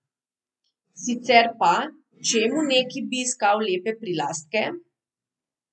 Sicer pa, čemu neki bi iskal lepe prilastke?